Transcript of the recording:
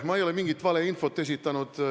Ma ei ole mingit valeinfot esitanud.